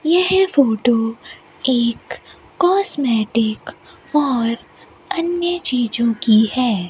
यह फोटो एक कॉस्मेटिक और अन्य चीजों की है।